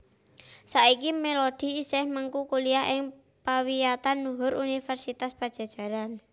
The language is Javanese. Saiki Melody isih mengku kuliah ing pawiyatan luhur Universitas Padjadjaran